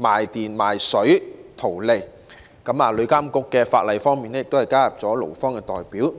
賣電"、"賣水"圖利，而旅遊業監管局亦加入了勞方代表。